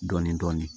Dɔɔnin dɔɔnin